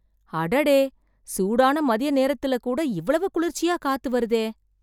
அடடே. சூடான மதிய நேரத்தில் கூட இவ்வளவு குளிர்ச்சியா காத்து வருதே.